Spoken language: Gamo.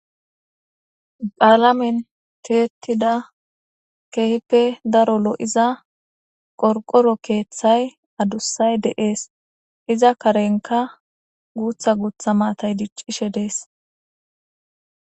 Qaalamen teetida kehippe daro lo7iza qorqoro keeththay adussay deees iza karenka guutha guutha maatay diccishe dees